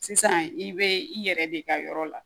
Sisan i bɛ i yɛrɛ de ka yɔrɔ la